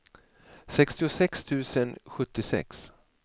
sextiosex tusen sjuttiosex